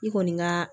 I kɔni ka